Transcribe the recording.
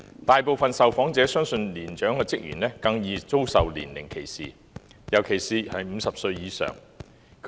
大部分受訪者相信年長職員更容易遭受年齡歧視，尤其是50歲以上的人。